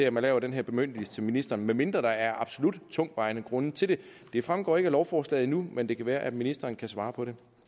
at man laver den her bemyndigelse til ministeren med mindre der er absolut tungtvejende grunde til det det fremgår ikke af lovforslaget endnu men det kan være at ministeren kan svare på det